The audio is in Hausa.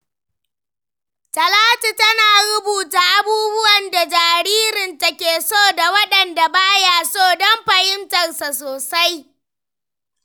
Talatu tana rubuta abubuwan da jaririnta ke so da waɗanda ba ya so don fahimtarsa sosai.